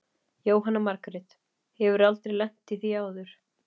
Jóhanna Margrét: Hefurðu aldrei lent í því áður?